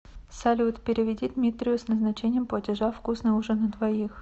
салют переведи дмитрию с назначением платежа вкусный ужин на двоих